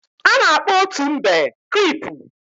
a na-akpo otu mbe creepu